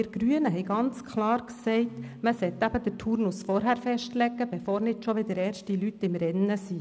Wir Grünen haben ganz klar gesagt, man solle den Turnus vorher festlegen, bevor nicht schon wieder erste Leute im Rennen sind.